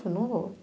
não vou.